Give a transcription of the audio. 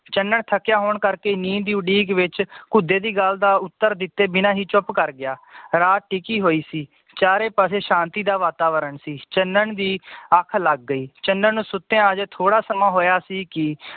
ਚੰਨਨ ਥੱਕਿਆ ਹੋਣ ਕਰਕੇ ਨੀਂਦ ਦੀ ਉਡੀਕ ਵਿਚ ਕੁਧੇ ਦੀ ਗੱਲ ਦਾ ਉੱਤਰ ਦਿੱਤੇ ਬਿਨਾ ਹੀ ਚੁੱਪ ਕਰ ਗਯਾ ਰਾਤ ਟਿਕੀ ਹੋਈ ਸੀ ਚਾਰੇ ਪਾਸੇ ਸ਼ਾਂਤੀ ਦਾ ਵਾਤਾਵਰਨ ਸੀ ਚੰਨਨ ਦੀ ਅੱਖ ਲਗ ਗਈ ਚੰਨਨ ਸੁੱਤਿਆਂ ਹਜੇ ਥੋੜਾ ਸਮਾਂ ਹੋਇਆ ਸੀ ਕਿ